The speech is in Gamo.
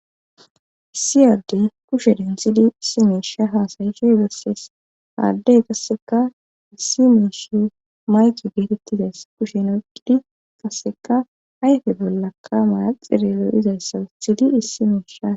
Issi addey kushe denthidi issi miishe bessees ha addey qassikka issi miishi mayke geetettizayssa kushen oykkidi qassekka ayfe bollaka manaxxire lo7izayssa wothidi issi misha.